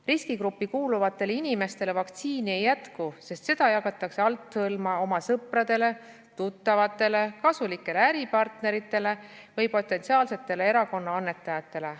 Riskigruppi kuuluvatele inimestele vaktsiini ei jätku, sest seda jagatakse althõlma oma sõpradele, tuttavatele, kasulikele äripartneritele või potentsiaalsetele erakonna annetajatele.